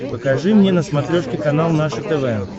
покажи мне на смотрешке канал наше тв